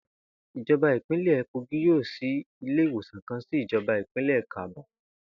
Ìjo̩ba ìpínlè̩ Kogí yóò s̩í ilé ìwòsàn kan sí ìjo̩ba ìbílè̩ Kabba